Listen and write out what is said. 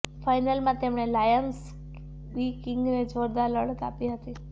ફાઈનલમાં તેમણે Lim Swee કિંગને જોરદાર લડત આપી હતી